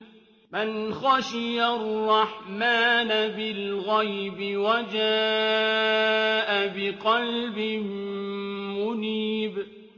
مَّنْ خَشِيَ الرَّحْمَٰنَ بِالْغَيْبِ وَجَاءَ بِقَلْبٍ مُّنِيبٍ